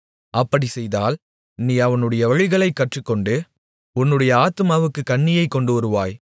அப்படிச் செய்தால் நீ அவனுடைய வழிகளைக் கற்றுக்கொண்டு உன்னுடைய ஆத்துமாவுக்குக் கண்ணியை கொண்டுவருவாய்